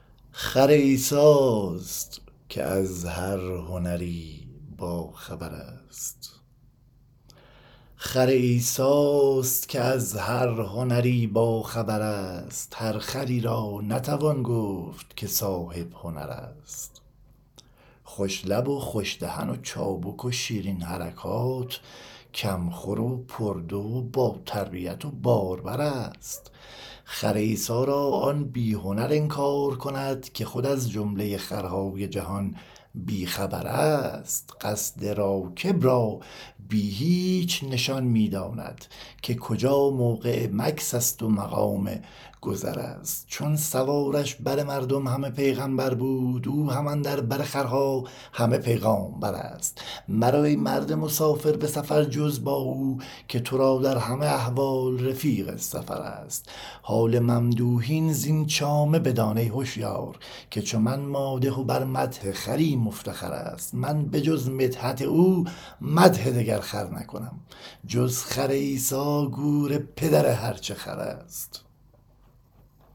خر عیسی است که از هر هنری باخبر است هر خری را نتوان گفت که صاحب هنر است خوش لب و خوش دهن و چابک و شیرین حرکات کم خور و پردو و با تربیت و باربر است خر عیسی را آن بی هنر انکار کند که خود از جمله خرهای جهان بی خبر است قصد راکب را بی هیچ نشان می داند که کجا موقع مکث ست و مقام گذر است چون سوارش بر مردم همه پیغمبر بود او هم اندر بر خرها همه پیغامبر است مرو ای مرد مسافر به سفر جز با او که تو را در همه احوال رفیق سفر است حال ممدوحین زین چامه بدان ای هشیار که چو من مادح بر مدح خری مفتخر است من به جز مدحت او مدح دگر خر نکنم جز خر عیسی گور پدر هر چه خر است